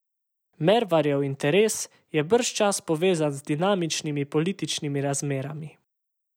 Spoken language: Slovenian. Mervarjev interes je bržčas povezan z dinamičnimi političnimi razmerami.